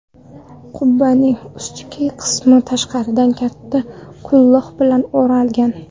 Qubbaning ustki qismi tashqaridan katta kuloh bilan o‘ralgan.